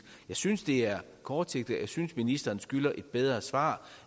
jeg synes det er kortsigtet og jeg synes ministeren skylder et bedre svar